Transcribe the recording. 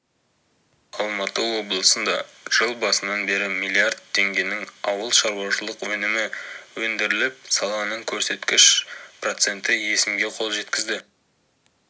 алматы облысында жыл басынан бері миллиард теңгенің ауылшаруашылық өнімі өндіріліп саланың көрсеткіші процент өсімге қол жеткізді